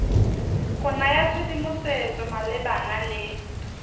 go naya tshedimosetso malebana le